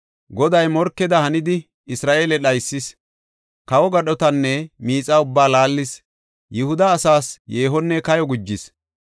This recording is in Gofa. Goday morkeda hanidi, Isra7eele dhaysis; kawo gadhotanne miixa ubbaa laallis yihuda asaas yeehonne kayo gujis.